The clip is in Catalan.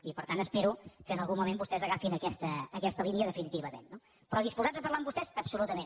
i per tant espero que en algun moment vostès agafin aquesta línia definitivament no però disposats a parlar amb vostès absolutament